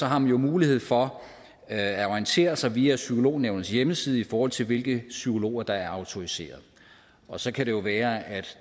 har man jo mulighed for at orientere sig via psykolognævnets hjemmeside i forhold til hvilke psykologer der er autoriserede så kan det jo være at